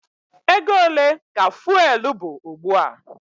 Ego ole ka fụ́élú bụ ugbu a?